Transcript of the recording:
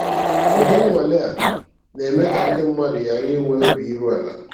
Udi nnwale a na-eme ka ndị mmadụ ghara inwe obi iru ala.